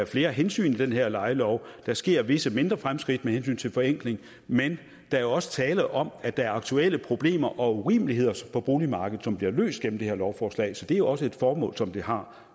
flere hensyn i det her lejelov der sker visse mindre fremskridt med hensyn til forenkling men der er også tale om at der er aktuelle problemer og urimeligheder på boligmarkedet som bliver løst gennem det her lovforslag så det er også et formål som det har